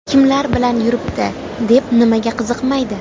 Kimlar bilan yuribdi?”, deb nimaga qiziqmaydi?